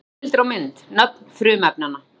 Heimildir og mynd: Nöfn frumefnanna.